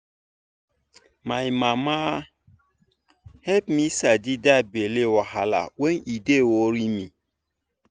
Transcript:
my mama help me sabi that belly wahala when e dey worry me